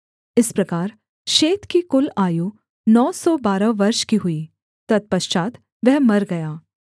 इस प्रकार शेत की कुल आयु नौ सौ बारह वर्ष की हुई तत्पश्चात् वह मर गया